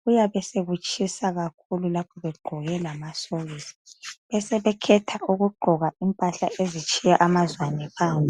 kuyabe esekutshisa kakhulu lapho egqoke lamasokisi sebekhetha ukugqoka impahla ezitshiya amazwane phandle.